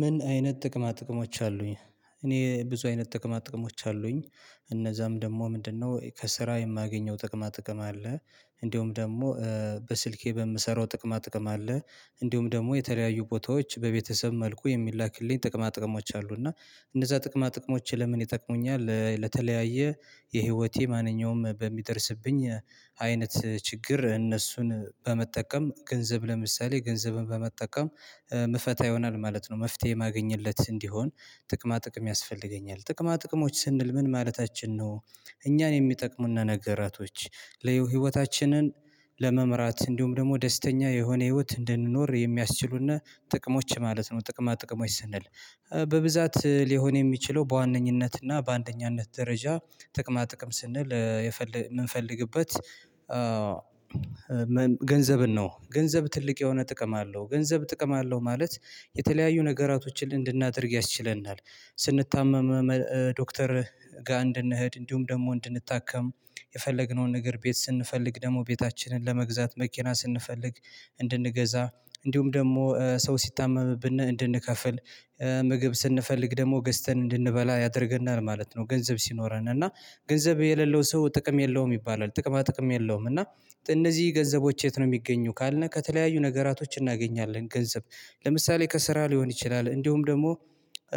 ምን አይነት ጥቅማ ጥቅሞች አሉኝ። እኔ ብዙ አይነት ጥቅማ ጥቅሞች አሉኝ እ እነዛም ደግሞ ምንድነው? እ ከስራ የማገኘው ጥቅማ ጥቅም አለ። እንደውም ደግሞ እ በስልኬ በምሰራው ጥቅማ ጥቅም አለ። እንዲሁም ደግሞ የተለያዩ ቦታዎች በቤተሰብ መልኩ የሚላክልኝ ጥቅማ ጥቅሞች አሉ። እና እንደዛ ጥቅማ ጥቅሞች ለምን ይጠቅሙኛል? እ ለተለያየ የህይወቴ ማንኛውም በሚደርስብኝ ሀ አይነት ችግር እነሱን በመጠቀም ገንዘብ ለምሳሌ ገንዘብን በመጠቀም እም ምፈታ ይሆናል ማለት ነው። መፍትሄ ማገኝለት እንዲሆን ጥቅማ ጥቅም ያስፈልገኛል ጥቅማ ጥቅሞች ስንል ምን ማለታችን ነው? እኛን የሚጠቅሙነ ነገራቶች ለህይወታችንን ለመምራት እንዲሁም ደግሞ ደስተኛ የሆነ ህይወት እንድንኖር የሚያስችሉነ ጥቅሞች ማለት ነው። ጥቅማ ጥቅሞች ስንል እ በብዛት ሊሆን የሚችለው በዋነኝነትና በአንደኛነት ደረጃ ጥቅማ ጥቅም ስንል እ የፈለ የምንፈልግበት አ ገንዘብን ነው። ገንዘብ ትልቅ የሆነ ጥቅም አለው ገንዘብ ጥቅም አለው ማለት የተለያዩ ነገራቶችን እንድናደርግ ያስችለናል። ስንታመም እ ዶክተር እ ጋ እንድንኸድድ እንዲሁም ደግሞ እንድንታከም የፈለግነውን ነገር ቤት ስንፈልግ ደግሞ ቤታችንን ለመግዛት መኪና ስንፈልግ እንድንገዛ እንዲሁም ደግሞ እ ሰው ሲታመምብነ እንድንከፍል እ ምግብ ስንፈልግ ደግሞ ገዝተን እንድንበላ ያደርገናል ማለት ነው። ገንዘብ ሲኖረን እና ገንዘብ የሌለው ሰው ጥቅም የለውም ይባላል። ጥቅማ ጥቅም የለውም። እና እነዚህ ገንዘቦች የት ነው የሚገኘው ካልነ ከተለያዩ ነገራቶች እናገኛለን ገንዘብ ለምሳሌ ከስራ ሊሆን ይችላል። እንዲሁም ደግሞ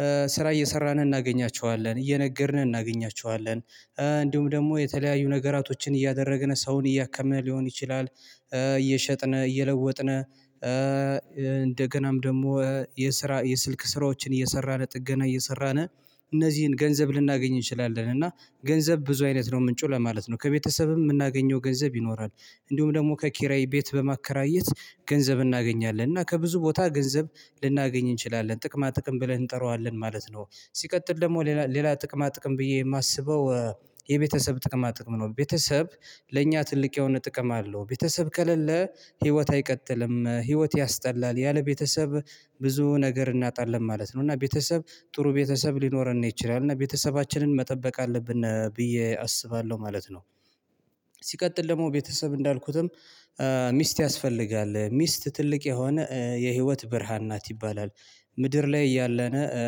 እ ስ ስራ እየሰራን እናገኛቸዋለን እየነገድነ እናገኛቸዋለን እእንዲሁም ደግሞ የተለያዩ ነገራቶችን እያደረግን ሰውን እያከምነ ሊሆን ይችላል። እ እየሸጥነ እየለወጥነ እ ኧ እ እንደገናም ደግሞ የስራ የስልክ ስራዎችን እየሰራን ጥገና እየሰራነ እነዚህን ገንዘብ ልናገኝ እንችላለን። እና ገንዘብ ብዙ አይነት ነው ምንጩ ለማለት ነው። ከቤተሰብም የምናገኘው ገንዘብ ይኖራል። እንዲሁም ደግሞ ከኪራይ ቤት በማከራየት ገንዘብ እናገኛለን እና ከብዙ ቦታ ገንዘብ ልናገኝ እንችላለን ጥቅማ ጥቅም ብለን እንጠራዋለን ማለት ነው። ሲቀጥል ደግሞ ሌላ ሌላ ጥቅማ ጥቅም ብዬ የማስበው እ የቤተሰብ ጥቅማ ጥቅም ነው። ቤተሰብ ለእኛ ትልቅ የሆነ ጥቅም አለው። ቤተሰብ ከለለ ህይወት አይቀጥልም ህይወት ያስጠላል ያለ ቤተሰብ ብዙ ነገር እናጣለን ማለት ነው። እና ቤተሰብ ጥሩ ቤተሰብ ሊኖረነ ይችላል እና ቤተሰባችንን መጠበቅ አለብነ ብዬ አስባለሁ ማለት ነው። ስ ሲቀጥል ደግሞ ቤተሰብ እንዳልኩትም እ ሚስት ያስፈልጋል ሚስት ትልቅ የሆነ እ የህይወት ብርሃን ናት ይባላል። ምድር ላይ እያለነ እ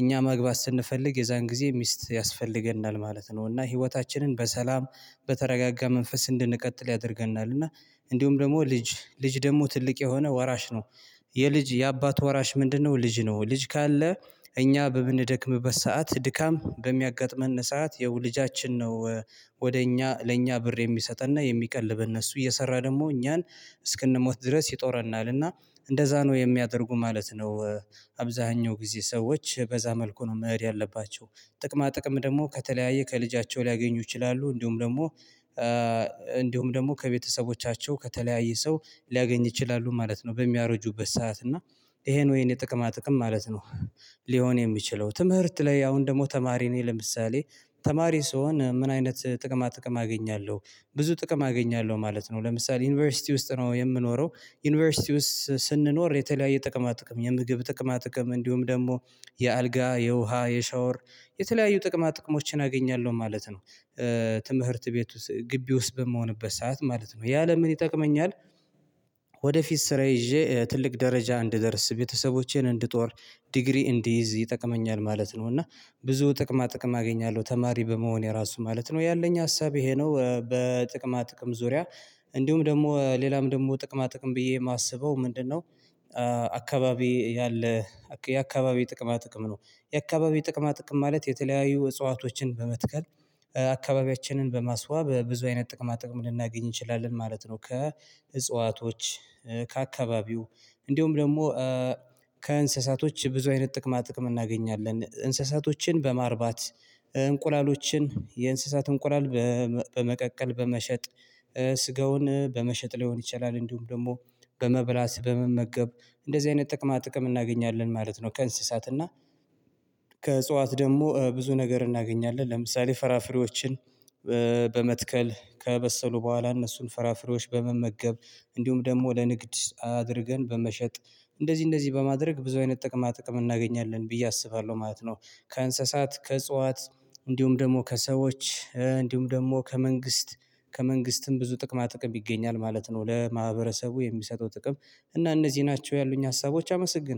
እኛ መግባት ስንፈልግ የዛን ጊዜ ሚስት ያስፈልገናል ማለት ነው። እና ህይወታችንን በሰላም በተረጋጋ መንፈስ እንድንቀጥል ያደርገናል እና እንዲሁም ደግሞ ልጅ ልጅ ደግሞ ትልቅ የሆነ ወራሽ ነው። የ የልጅ የአባት ወራሽ ምንድነው? ልጅ ነው ልጅ ካለ እ እኛ በምንደክምበት ሰዓት ድካም በሚያጋጥመነ ሰዓት የው ልጃችን ነው። ወደ እኛ ለእኛ ብር የሚሰጠነ የሚቀልበነ እሱ እየሰራ ደግሞ እኛን እስክንሞት ድረስ ይጦረናልና እንደዛ ነው የሚያደርጉ ማለት ነው። እ አብዛኛው ጊዜ ሰዎች በዛ መልኩ ነው መኸድ ያለባቸው ጥቅማ ጥቅም ደግሞ ከተለያየ ከልጃቸው ሊያገኙ ይችላሉ። እንዲሁም ደግሞ እ እንዲሁም ደግሞ ከቤተሰቦቻቸው ከተለያየ ሰው ሊያገኝ ይችላሉ ማለት ነው። በሚያረጁበት ሰዓት እና ይሄ ነው የኔ ጥቅማ ጥቅም ማለት ነው። ህ ሊሆን የሚችለው ትምህርት ላይ አሁን ደግሞ ተማሪ ነኝ ለምሳሌ ተማሪ ስሆን ምን አይነት ጥቅማ ጥቅም አገኛለሁ ብዙ ጥቅም አገኛለሁ ማለት ነው። ለምሳሌ ዩኒቨርሲቲ ውስጥ ነው የምኖረው ዩኒቨርሲቲ ውስጥ ስ ስንኖር የተለያየ ጥቅማ ጥቅም የምግብ ጥቅማ ጥቅም እንዲሁም ደግሞ የ የአልጋ የውሃ የሻወር የተለያዩ ጥቅማ ጥቅሞችን አገኛለሁ ማለት ነው። እ ትምህርት ቤት ውስጥ ግቢ ውስጥ በምሆንበት ሰዓት ማለት ነው ያ ለምን ይጠቅመኛል? ወደፊት ስራ ይዤ እ ትልቅ ደረጃ እንድደርስ ቤተሰቦቼን እንድጦር ዲግሪ እንድይዝ ይጠቅመኛል ማለት ነው። እና ብዙ ጥቅማ ጥቅም አገኛለሁ ተማሪ በመሆኔ ራሱ ማለት ነው። ያለኝ ሀሳብ ይሄ ነው እ በጥቅማ ጥቅም ዙሪያ እ እንዲሁም ደግሞ ሌላም ደግሞ ጥቅማ ጥቅም ብዬ የማስበው ምንድነው? እ አካባቢ ያለ አካ የአካባቢ ጥቅማ ጥቅም ነው። የአካባቢ ጥቅማ ጥቅም ማለት የተለያዩ እጽዋቶችን በመትከል እ አካባቢያችንን በማስዋብ በብዙ አይነት ጥቅማ ጥቅም ልናገኝ እንችላለን ማለት ነው። ከ እ እጽዋቶች እ ከአካባቢው እንዲሁም ደግሞ እ ከእንስሳቶች ብዙ አይነት ጥቅማ ጥቅም እናገኛለን እንስሳቶችን በማርባት እንቁላሎችን የእንስሳት እንቁላል በመ በመቀቀል በመሸጥ እ ስጋውን በመሸጥ ሊሆን ይችላል። እንዲሁም ደግሞ በመብላት በመመገብ እንደዚህ አይነት ጥቅማ ጥቅም እናገኛለን ማለት ነው። ከእንስሳት እና ከእጽዋት ደግሞ እ ብዙ ነገር እናገኛለን ለምሳሌ ፍራፍሬዎችን እ በመትከል ከበሰሉ በኋላ እነሱን ፍራፍሬዎች በመመገብ እንዲሁም ደግሞ ለንግድ አድርገን በመሸጥ እንደዚህ እንደዚህ በማድረግ ብዙ አይነት ጥቅማ ጥቅም እናገኛለን ብዬ አስባለሁ ማለት ነው። ከእንስሳት ከእጽዋት እንዲሁም ደግሞ ከሰዎች እ እንዲሁም ደግሞ ከመንግስት ከመንግስትም ብዙ ጥቅማ ጥቅም ይገኛል ማለት ነው። ለማህበረሰቡ የሚሰጠው ጥቅም እና እነዚህ ናቸው ያሉኝ ሀሳቦች አመሰግን